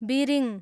बिरिङ